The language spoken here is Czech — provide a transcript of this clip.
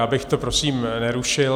Já bych to prosím nerušil.